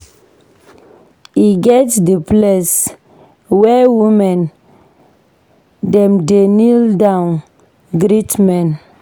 E get di place where women dem dey kneel down greet men.